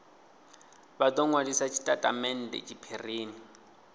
vha do nwalisa tshitatamennde tshiphirini